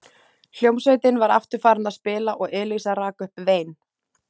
Hljómsveitin var aftur farin að spila og Elísa rak upp vein.